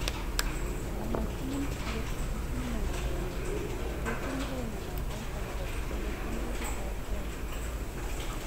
"Mamakiin akot kitikino ", katesyi Mremo noton akobo chetelelchin likit ab premia.